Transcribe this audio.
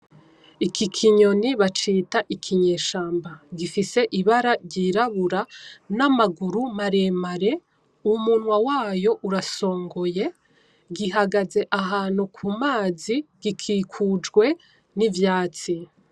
Iki kinyoni bacita ikinyeshamba gifise ibara ryirabura , namaguru maremare umunwa wayo urasongoye, gihagaze ahantu kumazi ,gikikujwe nivyatsi .